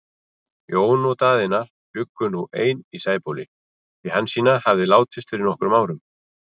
Jón og Daðína bjuggu nú ein í Sæbóli, því Hansína hafði látist fyrir nokkrum árum.